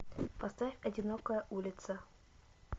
поставь одинокая улица